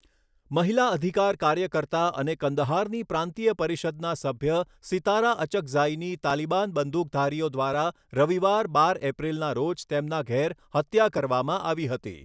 મહિલા અધિકાર કાર્યકર્તા અને કંદહારની પ્રાંતીય પરિષદનાં સભ્ય સિતારા અચકઝાઈની તાલિબાન બંદૂકધારીઓ દ્વારા રવિવાર, બાર એપ્રિલના રોજ તેમના ઘેર હત્યા કરવામાં આવી હતી.